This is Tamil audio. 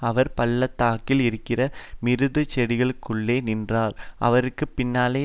அவர் பள்ளத்தாக்கில் இருக்கிற மிருதுச்செடிகளுக்குள்ளே நின்றார் அவருக்கு பின்னாலே